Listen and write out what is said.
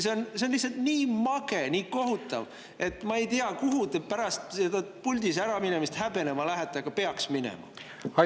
See on lihtsalt nii mage, nii kohutav, et ma ei tea, kuhu te pärast puldist äraminemist häbenema lähete, aga peaksite minema.